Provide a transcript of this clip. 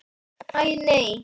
Æ, nei.